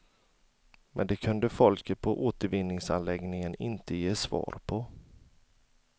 Men det kunde folket på återvinningsanläggningen inte ge svar på.